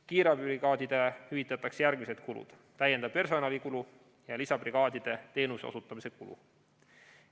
Kiirabibrigaadidele hüvitatakse järgmised kulud: täiendav personalikulu ja lisabrigaadide teenuse osutamise kulu.